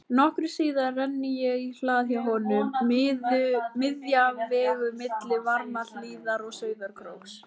Nokkru síðar renni ég í hlað hjá honum, miðja vegu milli Varmahlíðar og Sauðárkróks.